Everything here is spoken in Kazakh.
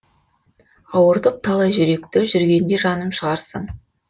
ауыртып талай жүректі жүргенде жаным шығарсың